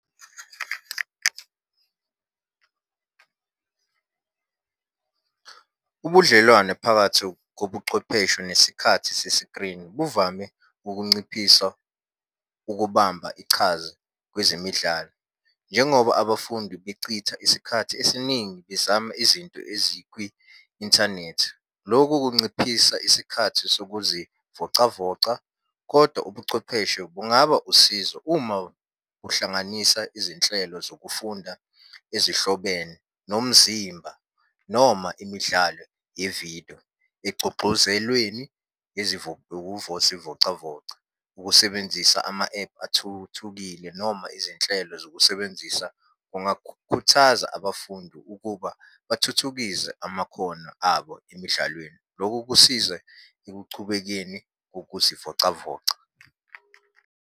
Ubudlelwano phakathi kobuchwepheshe nesikhathi sesikrini buvame ukunciphisa ukubamba ichaza kwezemidlalo, njengoba abafundi becitha isikhathi esiningi bezama izinto ezikwi-inthanethi. Lokhu kunciphisa isikhathi sokuzivocavoca, kodwa ubuchwepheshe bungaba usizo uma uhlanganisa izinhlelo zokufunda ezihlobene nomzimba noma imidlalo yevidiyo egcugxuzelweni zivocavoca. Ukusebenzisa ama-ephu athuthukile noma izinhlelo zokusebenzisa kungakhuthaza abafundi ukuba bathuthukise amakhono abo emidlalweni. Lokhu kusiza ekuchubekeni ukuzivocavoca.